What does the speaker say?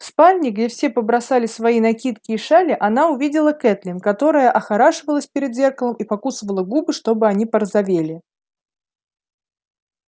в спальне где все побросали свои накидки и шали она увидела кэтлин которая охорашивалась перед зеркалом и покусывала губы чтобы они порозовели